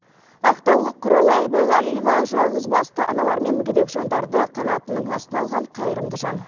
ақтаулық құралай байғалиева жалғызбасты аналар мен мүгедек жандарды қанатының астына алған қайырымды жан